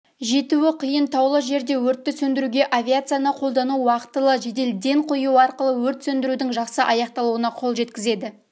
жетуі қиын таулы жерде өртті сөндіруге авиацияны қолдану уақтылы жедел ден қою арқылы өрт сөндірудің жақсы аяқталуына қол жеткізеді